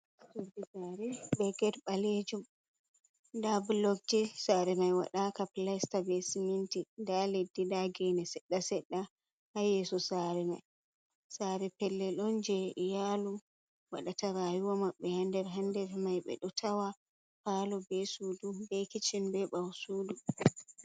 Saare be ged baleejum; da bologje, sare mai wadaka pilista be siminti. 'Da leddi da gene sedda sedda ha yeso sare mai. Sare pellel on je iyaalu wadata rayuwa ma'b'be ha nder mai; 'be d'o tawa paalu, sudu, kicchen be 'bawo sudu ha nder mai.